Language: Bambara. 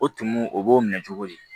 O tumu o b'o minɛ cogo di